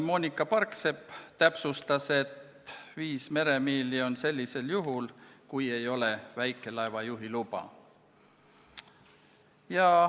Moonika Parksepp täpsustas, et viis meremiili on sellisel juhul, kui ei ole väikelaeva juhiluba.